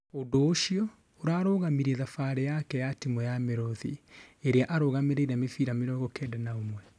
ũndũ ũcio ũrarugamirie thabarĩ yake na timu ya mĩruthi, ĩria arũgamĩrĩire mĩbĩra mĩrongo Kenda na ũmwe